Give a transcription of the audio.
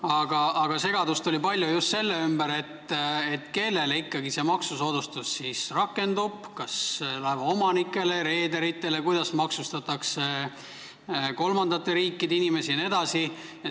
Aga palju segadust oli just sellega, et kellele see maksusoodustus siis ikkagi rakendub, kas laevaomanikele või reederitele, kuidas maksustatakse kolmandate riikide inimesi jne.